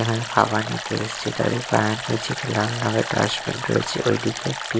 এখানে হাওয়া দিতে এসেছে তাদের পায়ের নীচে একটি লাল রঙের ডাস্টবিন রয়েছে ঐদিকে একটি--